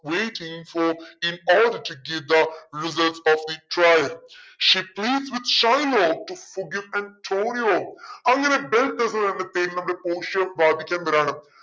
she pleaded with shylock to forgive and അങ്ങനെ പോഷിയ